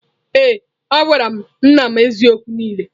Ee a gwara m nna m eziokwu niile.